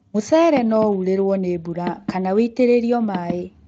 Mũcere no urĩrwo nĩ mbura kana ũitĩrĩlio maĩĩ